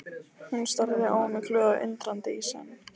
Hún starði á mig glöð og undrandi í senn.